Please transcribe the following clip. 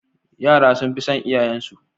Yara suna son iyayen su